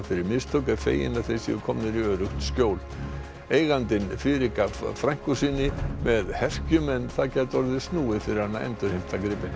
fyrir mistök er fegin að þeir séu komnir í öruggt skjól eigandinn fyrirgaf frænku sinni með herkjum en það gæti orðið snúið fyrir hann að endurheimta gripina